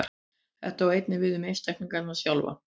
Þetta á einnig við um einstaklinginn sjálfan.